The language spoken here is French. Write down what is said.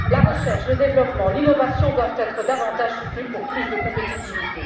La recherche, le développement et l'innovation doivent être davantage soutenus pour plus de compétitivité.